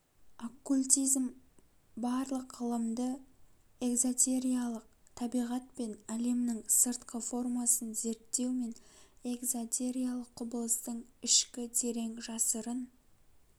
оккультизм барлық ғылымды экзотериялык табиғат пен әлемнің сыртқы формасын зерттеу мен экзотериялық құбылыстың ішкі терең жасырын